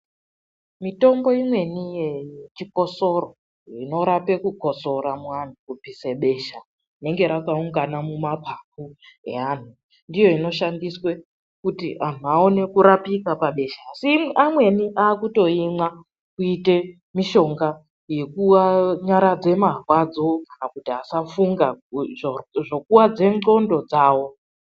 Mitombo imweni yechikosoro inorape kukosora muantu; kubvise besha rinenge rakaungana mumaphaphu eanhu, ndiyo inoshandiswe kuti anhu aone kurapika pabesha, asi amweni aakutoimwa kuite mishonga yekunyaradze marwadzo kana kuti asafunga, zvokuwadze ndxondo dzawo.